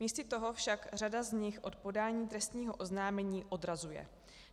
Místo toho však řada z nich od podání trestního oznámení odrazuje.